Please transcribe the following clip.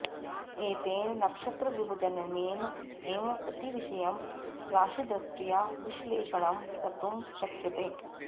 एतेन नक्षत्रविभजनेन एव प्रतिविषयं राशिदृष्ट्या विश्लेषणं कर्तुं शक्यते